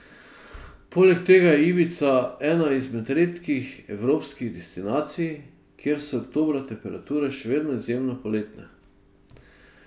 Poleg tega je Ibiza ena izmed redkih evropskih destinacij, kjer so oktobra temperature še vedno izjemno poletne.